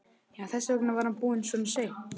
Já, þess vegna var hann búinn svona seint.